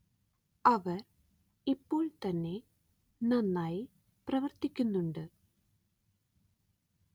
അവര്‍ ഇപ്പോള്‍ തന്നെ നന്നായി പ്രവര്‍ത്തിക്കുന്നുണ്ട്